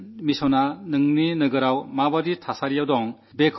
സ്വച്ഛതയുടെ കാര്യത്തിൽ നിങ്ങളുടെ നഗരത്തിൽ എന്താണു സമാധാനം